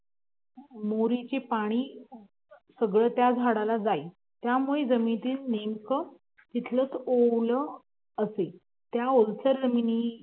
मोरीच पाणी सगळं त्या झाडाला जाई त्यामुळं जमिनीत नेमकं